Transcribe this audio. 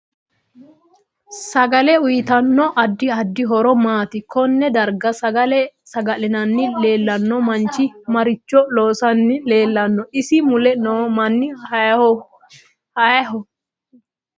Sagale uyiitanno addi addi horo maati konne darga sagale sagalanni leelanno manchi maricho loosanni leelanno isi mule noo mini hiiyooho